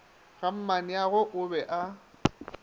ga mmaneagwe o be a